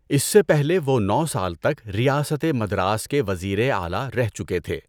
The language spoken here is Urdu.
اس سے پہلے وہ نو سال تک ریاست مدراس کے وزیر اعلیٰ رہ چکے تھے۔